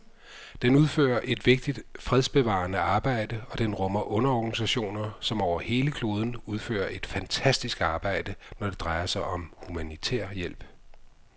Den udfører et vigtigt fredsbevarende arbejde, og den rummer underorganisationer, som over hele kloden udfører et fantastisk arbejde, når det drejer sig om humanitær hjælp.